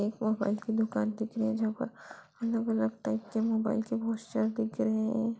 एक मोबाइल की दुकान दिख रही है जहाँ पर अलग-अलग टाइप के मोबाइल के पोस्टर दिख रहे हैं।